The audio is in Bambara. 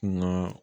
Naa